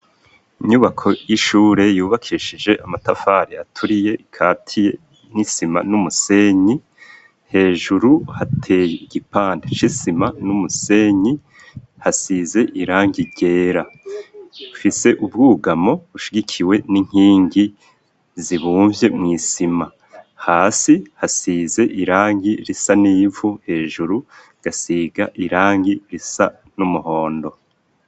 Inyubako y'ishure yubakishije amatafari aturiye ikatiye n'isima n'umusenyi hejuru hateye igipante c'isima n'umusenyi hasize irangi ryera mfise ubwugamo bushigikiwe n'inkingi zibumvye mw'isima hasi hasize irangi risa n'ivu hejuru gasiga irangi risa n'umuhondo.